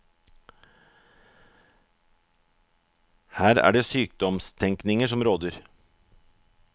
Her er det sykdomstenkningen som råder.